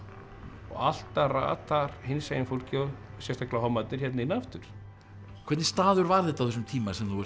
og alltaf ratar hinsegin fólkið sérstaklega hommarnir hérna inn aftur hvernig staður var þetta á þessum tíma sem þú ert